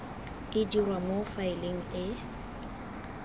e dirwa mo faeleng e